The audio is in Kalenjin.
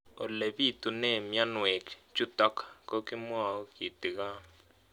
Ole pitune mionwek chutok ko kimwau kitig'�n